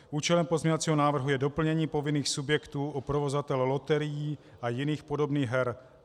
Účelem pozměňovacího návrhu je doplnění povinných subjektů o provozovatele loterií a jiných podobných her.